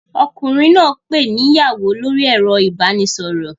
Ọkùnrin náà ń pè ni ìyàwó lórí ẹ̀rọ ìbánisọ̀rọ̀